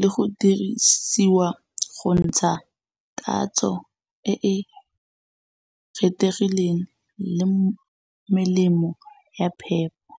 le go dirisiwa go ntsha tatso e e kgethegileng le melemo ya phepho.